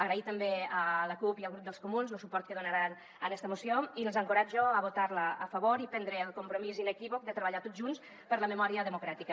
agrair també a la cup i al grup dels comuns lo suport que donaran a esta moció i els encoratjo a votar la a favor i prendre el compromís inequívoc de treballar tots junts per la memòria democràtica